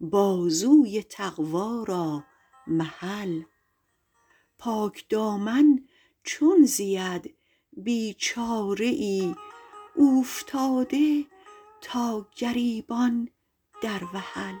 بازوی تقویٰ را محل پاکدامن چون زید بیچاره ای اوفتاده تا گریبان در وحل